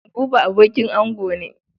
Buba abokin ango ne.